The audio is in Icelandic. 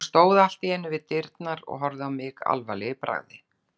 Hún stóð allt í einu við dyrnar og horfði á mig alvarleg í bragði.